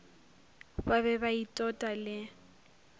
ba be ba itota le